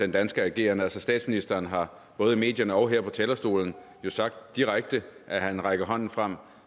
den danske ageren altså statsministeren har både i medierne og her på talerstolen jo sagt direkte at han rækker hånden frem